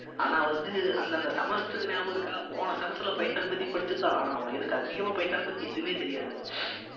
ஆனா வந்து அந்தந்த semester க்கு ஞாபகம் இருக்கா போன semester ல பைத்தான் பத்தி படிச்சதுதான் ஆனா எனக்கு அதிகமா பைத்தான் பத்தி எதுவுமே தெரியாது